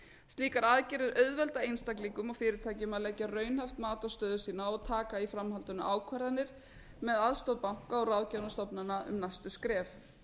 slíkar aðgerðir auðvelda fyrirtækjum og einstaklingum að leggja raunhæft mat á stöðu sína og taka í framhaldinu ákvarðanir með aðstoð banka og ráðgafarstofnana um næstu skref